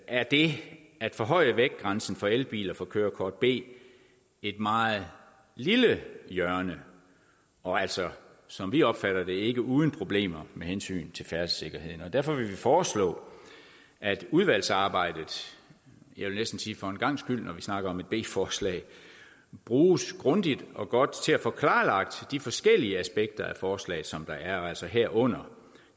er det at forhøje vægtgrænsen for elbiler for kørekort b et meget lille hjørne og altså som vi opfatter det ikke uden problemer med hensyn til færdselssikkerheden og derfor vil vi foreslå at udvalgsarbejdet og jeg vil næsten sige for en gangs skyld når vi snakker om et b forslag bruges grundigt og godt til at få klarlagt de forskellige aspekter af forslaget som der er og altså herunder